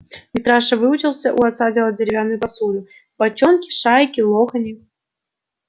митраша выучился у отца делать деревянную посуду бочонки шайки лохани